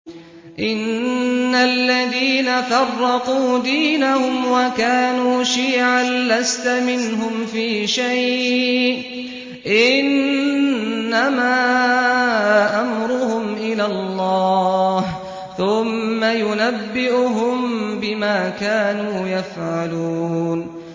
إِنَّ الَّذِينَ فَرَّقُوا دِينَهُمْ وَكَانُوا شِيَعًا لَّسْتَ مِنْهُمْ فِي شَيْءٍ ۚ إِنَّمَا أَمْرُهُمْ إِلَى اللَّهِ ثُمَّ يُنَبِّئُهُم بِمَا كَانُوا يَفْعَلُونَ